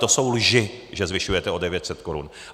To jsou lži, že zvyšujete o 900 korun.